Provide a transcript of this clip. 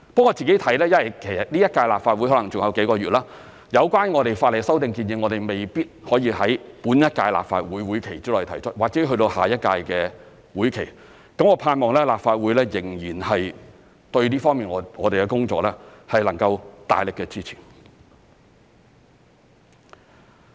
我自己看，因為這屆立法會還有幾個月，有關法例修訂建議未必可以在本屆立法會會期內提出，或者要去到下一屆的會期，我盼望立法會對我們這方面的工作仍然能夠大力的支持。